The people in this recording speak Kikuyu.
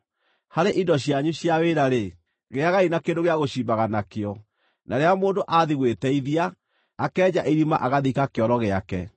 Harĩ indo cianyu cia wĩra-rĩ, gĩagai na kĩndũ gĩa gũcimbaga nakĩo, na rĩrĩa mũndũ athiĩ gwĩteithia, akenja irima agathika kĩoro gĩake.